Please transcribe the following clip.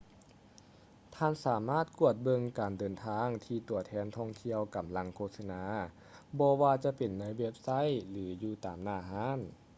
ທ່ານສາມາດກວດເບິ່ງການເດີນທາງທີ່ຕົວແທນທ່ອງທ່ຽວກຳລັງໂຄສະນາ ບໍ່ວ່າຈະເປັນໃນເວັບໄຊ ຫຼື ຢູ່ຕາມໜ້າຮ້ານ